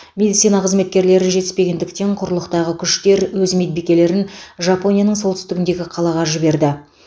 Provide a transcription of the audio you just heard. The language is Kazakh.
медицина қызметкерлері жетіспегендіктен құрлықтағы күштер өз медбикелерін жапонияның солтүстігіндегі қалаға жіберді